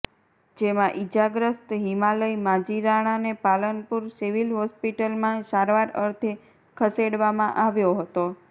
જેમાં ઇજાગ્રસ્ત હિમાલય માજીરાણાને પાલનપુર સિવિલ હોસ્પિટલમાં સારવાર અર્થે ખસેડવામાં આવ્યો હતો